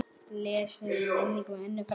Blessuð sé minning Önnu frænku.